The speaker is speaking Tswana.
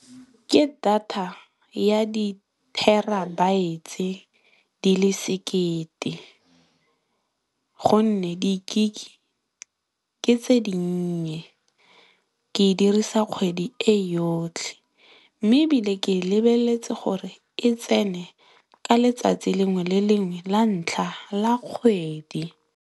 Ke data ya di terabytes di le sekete gonne, di gigabytes ke tse dinnye ke e dirisa kgwedi e yotlhe mme, ebile ke e lebeletse gore e tsene ka letsatsi lengwe le lengwe la ntlha la kgwedi.